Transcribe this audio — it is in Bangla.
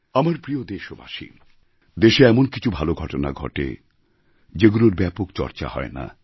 আমার প্রিয় দেশবাসী দেশে এমন কিছু ভালো ঘটনা ঘটে যেগুলোর ব্যাপক চর্চা হয় না